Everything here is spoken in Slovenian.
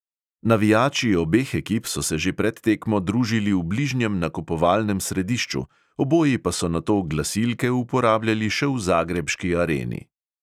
Navijači obeh ekip so se že pred tekmo družili v bližnjem nakupovalnem središču, oboji pa so nato glasilke uporabljali še v zagrebški areni.